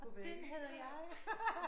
Og den havde jeg